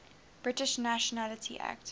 british nationality act